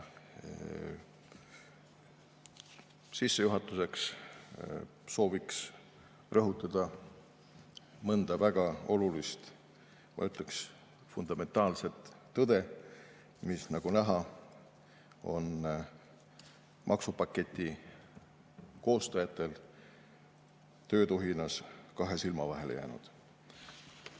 Sissejuhatuseks soovin rõhutada mõnda väga olulist, ma ütleks, fundamentaalset tõde, mis, nagu näha, on maksupaketi koostajatel töötuhinas kahe silma vahele jäänud.